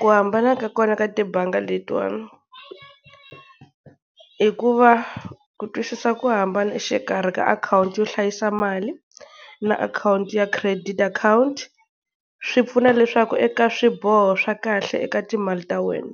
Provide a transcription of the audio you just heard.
Ku hambana ka kona ka tibangi letiwani, i ku va ku twisisa ku hambana exikarhi ka akhawunti yo hlayisa mali na akhawunti ya credit akhawunti, swi pfuna leswaku eka swiboho swa kahle eka timali ta wena,